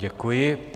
Děkuji.